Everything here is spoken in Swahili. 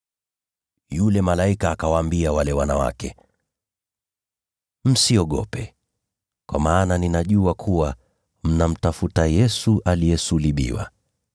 Yule malaika akawaambia wale wanawake, “Msiogope, kwa maana ninajua kuwa mnamtafuta Yesu aliyesulubiwa.